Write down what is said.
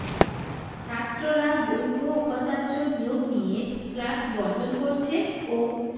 ছাত্ররা বৈধ উপাচার্য নিয়োগ নিয়ে ক্লাস বর্জন করছে ও